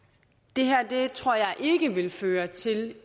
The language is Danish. det her vil føre til